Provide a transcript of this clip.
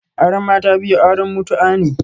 Auren mata biyu auren mutu'a ne